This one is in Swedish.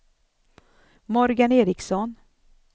Morgan Ericsson